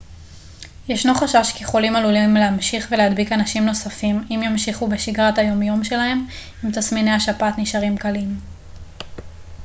ישנו חשש כי חולים עלולים להמשיך ולהדביק אנשים נוספים אם ימשיכו בשגרת היום יום שלהם אם תסמיני השפעת נשארים קלים